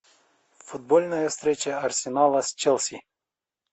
футбольная встреча арсенала с челси